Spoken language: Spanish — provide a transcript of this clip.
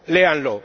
la Unión